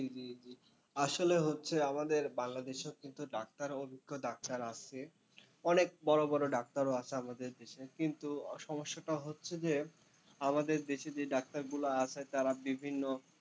জি জি জি আসলে হচ্ছে আমাদের বাংলাদেশেও কিন্তু ডাক্তার অভিজ্ঞ ডাক্তার আছে, অনেক বড়ো বড়ো ডাক্তারও আছে আমাদের দেশে, কিন্তু সমস্যাটা হচ্ছে যে আমাদের দেশে যে ডাক্তারগুলো আছে তারা বিভিন্ন,